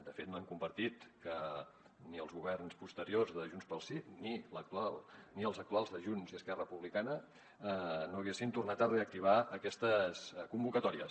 de fet no hem compartit que ni els governs posteriors de junts pel sí ni l’actual ni els actuals de junts i esquerra republicana no haguessin tornat a reactivar aquestes convocatòries